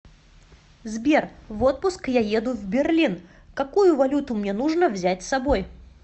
сбер в отпуск я еду в берлин какую валюту мне нужно взять с собой